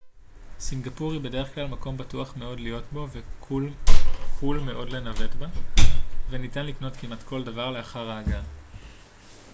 סינגפור היא בדרך כלל מקום בטוח מאוד להיות בו וקול מאוד לנווט בה וניתן לקנות כמעט כל דבר לאחר ההגעה